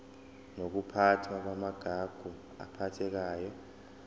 nokuphathwa kwamagugu aphathekayo